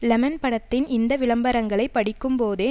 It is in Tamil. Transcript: லெமன் படத்தின் இந்த விளம்பரங்களை படிக்கும்போதே